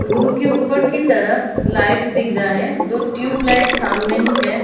Room के ऊपर की तरफ लाइट दिख रहा है दो ट्यूबलाइट सामने ही है।